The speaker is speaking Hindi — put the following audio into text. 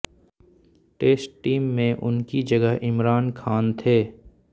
टेस्ट टीम में उनकी जगह इमरान खान थे